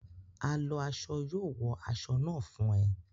A lọ aṣọ yóò wo aṣọ náà fún ẹ